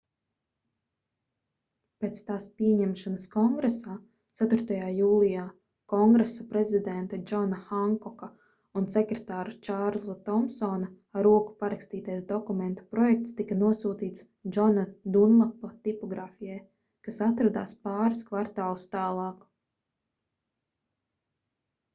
pēc tās pieņemšanas kongresā 4. jūlijā kongresa prezidenta džona hankoka un sekretāra čārlza tomsona ar roku parakstītais dokumenta projekts tika nosūtīts džona dunlapa tipogrāfijai kas atradās pāris kvartālus tālāk